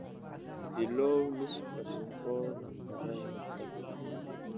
bilow liis cusub oo nambarada bakhtiyaanasiibka